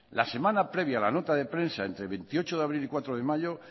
el kilo la semana previa a la nota de prensa entre el veintiocho de abril y cuatro de mayo